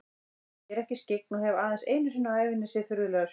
Ég er ekki skyggn og hef aðeins einu sinni á ævinni séð furðulega sjón.